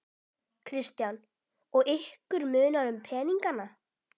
Kristján: Og ykkur munar um peningana?